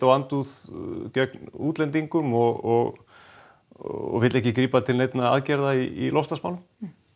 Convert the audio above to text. á andúð gegn útlendingum og og vill ekki grípa til neinna róttækra aðgerða í loftslagsmálum